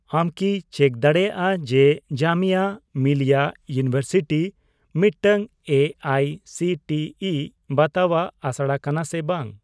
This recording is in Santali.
ᱟᱢᱠᱤ ᱪᱮᱠ ᱫᱟᱲᱮᱭᱟᱜᱼᱟ ᱡᱮ ᱡᱟᱢᱤᱭᱟ ᱢᱤᱞᱤᱭᱟ ᱤᱭᱩᱱᱤᱵᱷᱟᱨᱥᱤᱴᱤ ᱢᱤᱫᱴᱟᱝ A I C T E ᱵᱟᱛᱟᱣᱟᱜ ᱟᱥᱲᱟ ᱠᱟᱱᱟ ᱥᱮ ᱵᱟᱝ ?